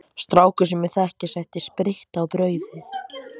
Strákur sem ég þekki setti spritt í brauð.